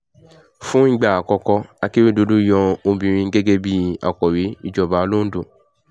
fún ìgbà àkọ́kọ́ akérédọ́lù yan obìnrin gẹ́gẹ́ bíi akọ̀wé ìjọba londo